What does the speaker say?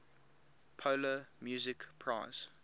polar music prize